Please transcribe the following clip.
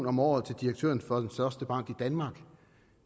om året til direktøren for den største bank i danmark